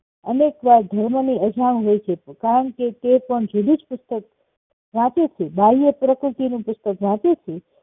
અનેક વાર ધર્મ ની અજાણ હોય છે કારણકે તે પણ જુદું જ પુસ્તક વાચુંયુંછે બાહ્ય પ્રકૃતિનું નું પુસ્તક વાંચેછે